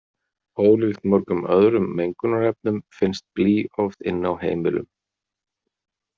Ólíkt mörgum öðrum mengunarefnum finnst blý oft inni á heimilum.